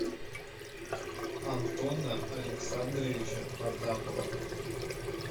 антона александровича потапова